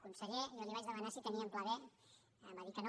conseller jo li vaig demanar si tenia un pla be em va dir que no